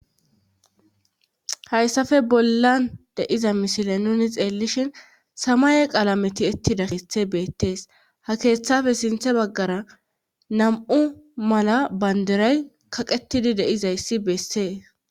hayssafe bollan de'iza mishile nuni xeellishin samaye qalameti etti dakethe beettees ha keeththafe sinthe baggara nam7u mala banderay kaqetidi deizayssi beessee